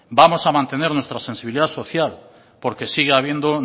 vamos a mantener nuestra sensibilidad social porque siga habiendo